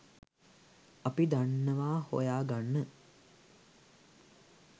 අපි දන්නවා හොයා ගන්න